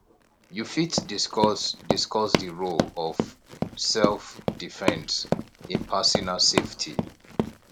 you fit discuss discuss di role of selfdefense in personal safety